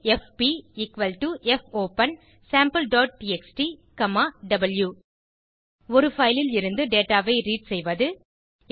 எஃபி fopensampleடிஎக்ஸ்டி வாவ் ஒரு பைல் இருந்து டேட்டா ஐ ரீட் செய்வது